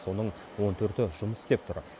соның он төрті жұмыс істеп тұр